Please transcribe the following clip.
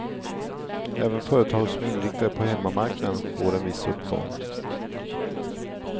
Även företag som är inriktade på hemmamarknaden får en viss uppgång.